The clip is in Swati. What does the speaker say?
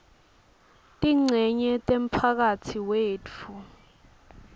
tincenye temphakatsi wetfu